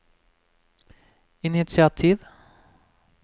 initiativ